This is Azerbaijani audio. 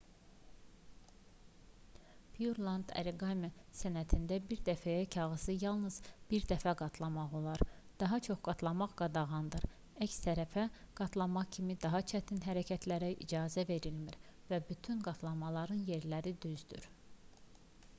pureland oriqami sənətində bir dəfəyə kağızı yalnız bir dəfə qatlamaq olar daha çox qatlamaq qadağandır əks tərəfə qatlama kimi daha çətin hərəkətlərə icazə verilmir və bütün qatlamaların yerləri düzdür